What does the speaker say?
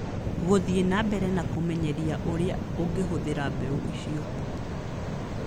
Gũthiĩ na mbere kũmenyeria ũrĩa ũngĩhũthĩra mbeũ icio